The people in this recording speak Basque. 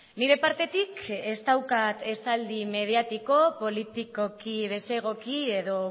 nire partetik ez daukat esaldi mediatiko politikoki desegoki edo